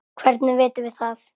Hvernig vitum við það?